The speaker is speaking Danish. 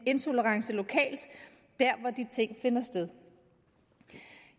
intolerance lokalt dér hvor de ting finder sted